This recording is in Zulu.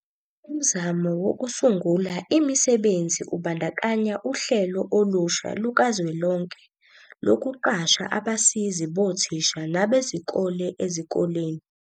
Umzamo wokusungula imisebenzi ubandakanya uhlelo olusha lukazwelonke lokuqasha abasizi bothisha nabezikole ezikoleni.